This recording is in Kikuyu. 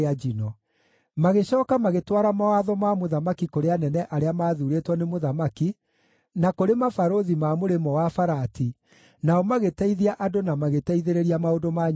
Magĩcooka magĩtwara mawatho ma mũthamaki kũrĩ anene arĩa maathuurĩtwo nĩ mũthamaki, na kũrĩ mabarũthi ma Mũrĩmo-wa-Farati, nao magĩteithia andũ na magĩteithĩrĩria maũndũ ma nyũmba ya Ngai.